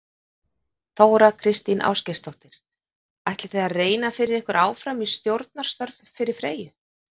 Þóra Kristín Ásgeirsdóttir: Ætlið þið að reyna fyrir ykkur áfram í stjórnunarstörf fyrir Freyju?